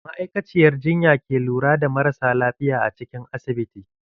Ma'aikaciyar jinya ke lura da marasa lafiya a cikin asibiti.